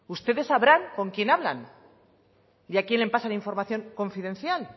ustedes sabrán con quién hablan y a quién le pasan la información confidencial